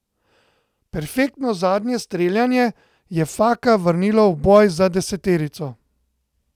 Perfektno zadnje streljanje je Faka vrnilo v boj za deseterico.